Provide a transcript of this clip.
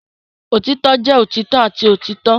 Otitọ jẹ otitọ ati otitọ.